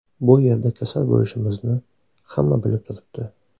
Bu yerda kasal bo‘lishimizni hamma bilib turibdi.